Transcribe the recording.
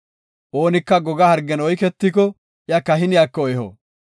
“Oonika goga hargen oyketiko iya kahiniyako eho.